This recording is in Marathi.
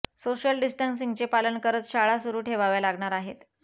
सोशल डिस्टन्सिंगचे पालन करत शाळा सुरू ठेवाव्या लागणार आहेत